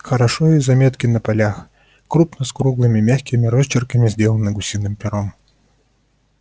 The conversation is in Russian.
хорошо и заметки на полях крупно и с круглыми мягкими росчерками сделаны гусиным пером